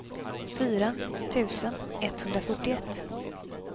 fyra tusen etthundrafyrtioett